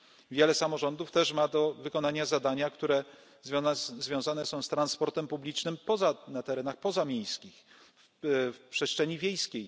Wiele samorządów też ma do wykonania zadania, które związane są z transportem publicznym na terenach pozamiejskich, w przestrzeni wiejskiej.